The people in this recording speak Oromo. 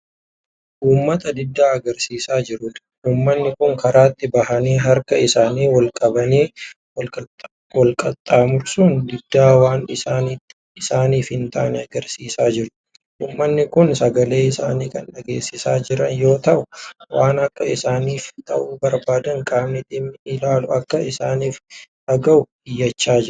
Ummata diddaa agarsiisaa jiruudha. ummanni Kun karaatti bahanii harka isaanii olqabanii walqaxxaamursuun diddaa waan isaaniif hin taanee agarsiisaa jiru. ummanni Kun sagalee isaanii Kan dhageessisaa Jiran yoo ta'u waan Akka isaaniif ta'u barbaadan qaamni dhimmi ilaalu Akka isaaniif dhagahu iyyachaa jiru.